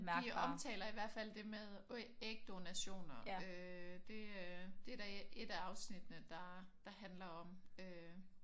De omtaler i hvert flad det med ægdonationer øh det øh det er der et af afsnittene der der handler om øh